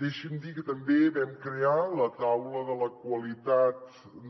deixi’m dir que també vam crear la taula de la qualitat